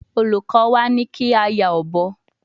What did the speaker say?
Oluko wa ni ki a ya obo